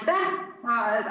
Aitäh!